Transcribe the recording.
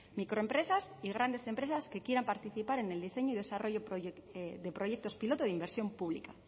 microempresas y grandes empresas que quieran participar en el diseño y desarrollo de proyectos piloto de inversión pública